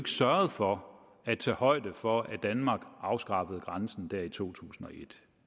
sørgede for at tage højde for at danmark afskaffede grænsen der i to tusind og et